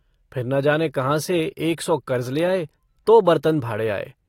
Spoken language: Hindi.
फिर न जाने कहाँ से एक सौ कर्ज़ ले आए तो बरतन-भाड़े आए।